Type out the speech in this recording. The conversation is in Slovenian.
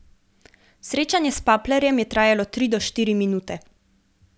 Srečanje s Paplerjem je trajalo tri do štiri minute.